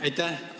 Aitäh!